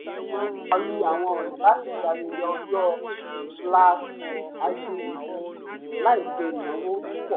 ó ṣàwárí àwọn ọna láti ṣe ayẹyẹ ọjọ́-ìbí láì ṣe ìnáwó púpọ̀